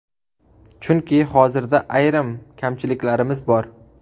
Chunki hozirda ayrim kamchiliklarimiz bor.